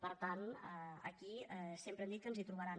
per tant aquí sempre hem dit que ens hi trobaran